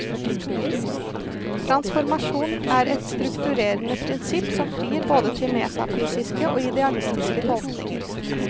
Transformasjon er et strukturerende prinsipp som frir både til metafysiske og idealistiske tolkninger.